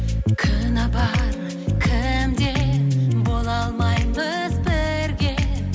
кінә бар кімде бола алмаймыз бірге